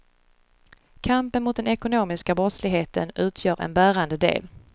Kampen mot den ekonomiska brottsligheten utgör en bärande del.